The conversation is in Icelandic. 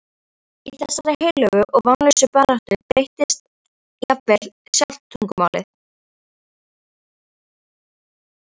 Í þessari heilögu og vonlausu baráttu breytist jafnvel sjálft tungumálið.